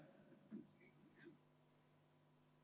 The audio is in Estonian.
Aitäh!